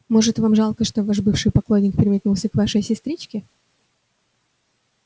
может вам жалко что ваш бывший поклонник переметнулся к вашей сестричке